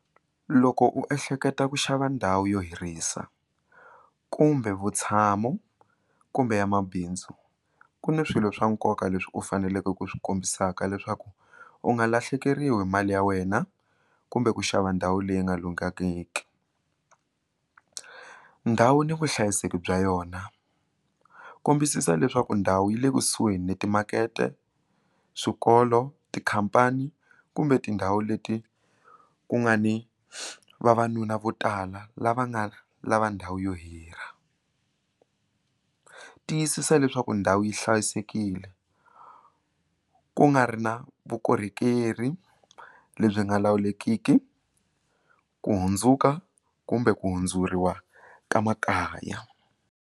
Loko u ehleketa ku xava ndhawu yo hirhisa kumbe vutshamo kumbe ya mabindzu ku ni swilo swa nkoka leswi u faneleke ku swi kombisaka leswaku u nga lahlekeriwi hi mali ya wena kumbe ku xava ndhawu leyi nga lunghangiki ndhawu ni vuhlayiseki bya yona kombisisa leswaku ndhawu yi le kusuhi ni timakete swikolo tikhampani kumbe tindhawu leti ku nga ni vavanuna vo tala lava nga lava ndhawu yo hira tiyisisa leswaku ndhawu yi hlayisekile ku nga ri na vukorhokeri lebyi nga lawulekiki ku hundzuka kumbe ku hundzuriwa ka makaya.